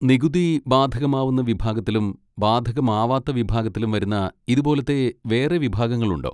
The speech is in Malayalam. നികുതി ബാധകമാവുന്ന വിഭാഗത്തിലും ബാധകമാവാത്ത വിഭാഗത്തിലും വരുന്ന ഇതുപോലത്തെ വേറെ വിഭാഗങ്ങളുണ്ടോ?